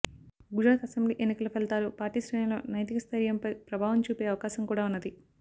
Gujarat assembly ఎన్నికల ఫలితాలు party శ్రేణుల్లో నైతిక స్థయిర్యంపై ప్రభావం చూపే అవకాశం కూడా ఉన్నది